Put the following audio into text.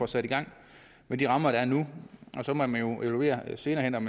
sat i gang med de rammer der er nu og så må man jo evaluere senere hen om